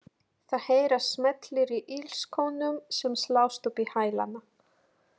Það heyrast smellir í ilskónum sem slást upp í hælana.